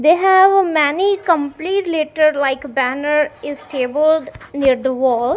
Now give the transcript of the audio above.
they have a many complete letter like a banner is table near the wall.